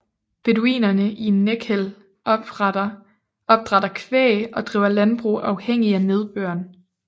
Beduinerne i Nekhel opdrætter kvæg og driver landbrug afhængig af nedbøren